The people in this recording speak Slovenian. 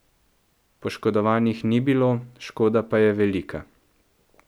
Poškodovanih ni bilo, škoda pa je velika.